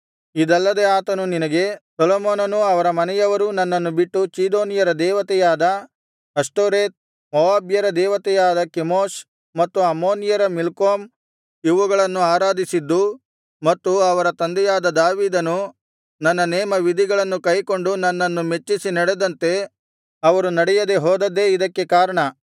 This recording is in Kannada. ಇದಲ್ಲದೆ ಆತನು ನಿನಗೆ ಸೊಲೊಮೋನನೂ ಅವರ ಮನೆಯವರೂ ನನ್ನನ್ನು ಬಿಟ್ಟು ಚೀದೋನ್ಯರ ದೇವತೆಯಾದ ಅಷ್ಟೋರೆತ್ ಮೋವಾಬ್ಯರ ದೇವತೆಯಾದ ಕೆಮೋಷ್ ಮತ್ತು ಅಮ್ಮೋನಿಯರ ಮಿಲ್ಕೋಮ್ ಇವುಗಳನ್ನು ಆರಾಧಿಸಿದ್ದೂ ಮತ್ತು ಅವರ ತಂದೆಯಾದ ದಾವೀದನು ನನ್ನ ನೇಮವಿಧಿಗಳನ್ನು ಕೈಕೊಂಡು ನನ್ನನ್ನು ಮೆಚ್ಚಿಸಿ ನಡೆದಂತೆ ಅವರು ನಡೆಯದೆ ಹೋದದ್ದೇ ಇದಕ್ಕೆ ಕಾರಣ